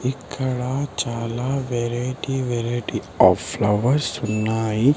ఇక్కడ చాలా variety variety of flowers ఉన్నాయి.